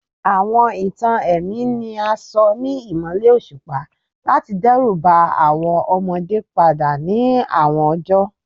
Awọn itan ẹmi ni a sọ ni imọlẹ oṣupa lati dẹruba awọn ọmọde pada ni awọn ọjọ